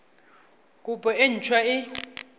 kopo e nt hwa e